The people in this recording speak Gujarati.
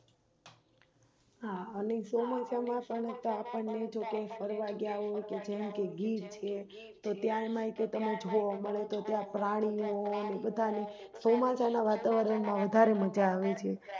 હા અને ચોમાસા માં પણ આપણે ક્યાક ફરવા ગયા હોય જેમ કે ગીર છે ત્યાં તમે જોવામળે તો ત્યાં પ્રાણીઓ ને બધા ચોમાસા નાં વાતાવરણમાં વધારે મજા આવે છે